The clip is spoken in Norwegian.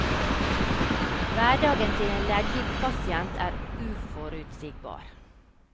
Hverdagen til en leddgiktpasient er uforutsigbar.